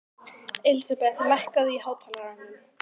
Elísabeth, lækkaðu í hátalaranum.